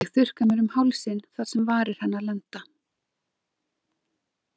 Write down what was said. Ég þurrka mér um hálsinn þar sem varir hennar lenda.